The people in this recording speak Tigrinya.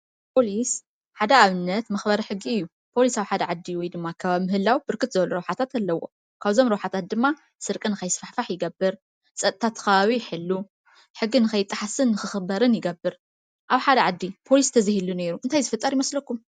ፖሊስ ሓደ ኣብነት መኽበሪ ሕጊ እዩ። ፖሊሰ ኣብ ሓደ ዓዲ ወይ ድማ ኣከባቢ ምህላዉ ብርክት ዝበሉ ረብሓታት ኣለዉዎ። ካብዞም ረብሓታት ድማ ስርቂ ከይስፋሕፋሕ ይገብር። ፀጥታ እዚ ከባቢ ይሕሎ ሕጊ ንከይጠሓስን ንክኽበርን ይገብር ኣብ ሓደ ዓዲ ፖሊሰ ተዘይህሉ ኔሩ እንታይ ዝፍጠር ይመስለኩም ።